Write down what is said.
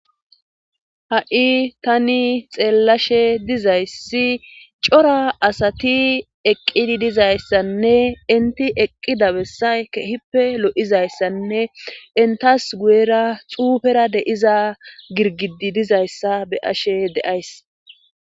Ha'i tani xeellashe dizayssi cora asati eqqidi dizayssanne inti eqqida bessay kehippe lo7izayssanne intas guyera xuufera deiza girgidi dizayssa be ashe deays